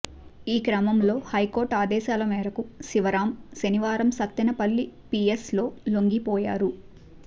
ఈ క్రమంలో హైకోర్టు ఆదేశాల మేరకు శివరాం శనివారం సత్తెనపల్లి పీఎస్లో లొంగిపోయారు